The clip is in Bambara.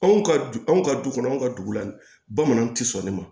Anw ka du anw ka du kɔnɔ anw ka du la bamananw ti sɔn nin ma